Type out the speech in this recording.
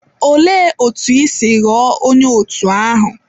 Olee otú i si ghọọ onye òtù ahụ?